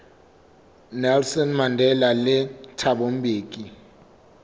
nelson mandela le thabo mbeki